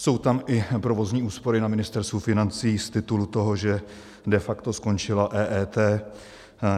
Jsou tam i provozní úspory na Ministerstvu financí z titulu toho, že de facto skončila EET.